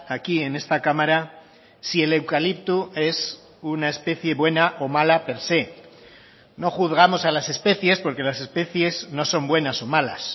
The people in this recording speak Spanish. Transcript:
aquí en esta cámara si el eucalipto es una especie buena o mala per se no juzgamos a las especies porque las especies no son buenas o malas